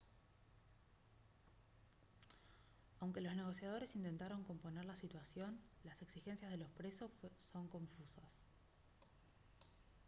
aunque los negociadores intentaron componer la situación las exigencias de los presos son confusas